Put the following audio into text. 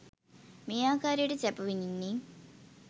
මේ ආකාරයට සැප විඳින්නේ,